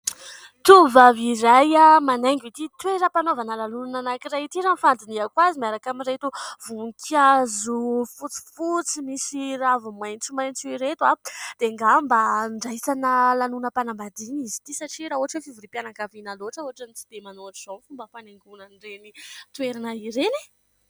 Tovovavy iray manaingo ity toeram-panaovana lanonana anankiray ity. Raha ny fandinihako azy miaraka amin'ireto voninkazo fotsifotsy, misy raviny maitsomaitso ireto dia angamba andraisana lanonam-panambadiana izy ity satria raha ohatra fivoriam-pianankaviana loatra ohatrany tsy dia manao ohatrin'izao ny fomba fanaingoina an'ireny toerana ireny e ?